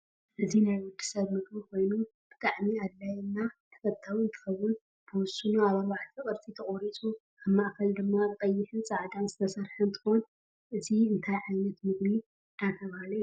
እዚ ናይ ወድሰብ ምግብ ኮይኑ ብጣዓሚ ኣድላይ እና ተፍታዊ እንትኩን ብወሰኑ ኣብ ኣርባዕተ ቅርፂ ተቆሪፁ ኣብ ማእከል ድማ ብቀይሕ ፃዕዳን ዝተሰርሕ እንትኮን እዚ እንታይ ዓይነት ምግብ እደተበሃለ ይፅዋዕ?